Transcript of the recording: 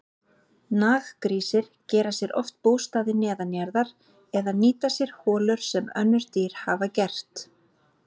Naggrísir gera sér oft bústaði neðanjarðar eða nýta sér holur sem önnur dýr hafa gert.